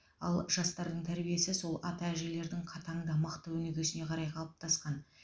ал жастардың тәрбиесі сол ата әжелердің қатаң да мықты өнегесіне қарай қалыптасқан